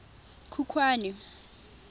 khukhwane